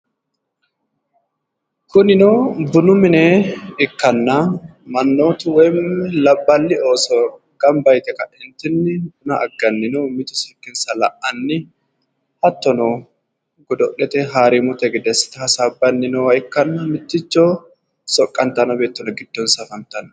Kunino bunu mine ikkanna mannootu woyi labballi ooso gamba yite kaeentinni buna aggannino mitu silkensa la'anni haattono godo'lite haarimmote gede assite hasaabbanni nooha ikkanna mitticho soqqantanno beetto giddonsa afantanno.